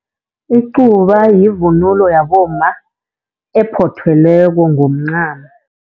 Icuba yivunulo yabomma ephothelweko ngomncamo.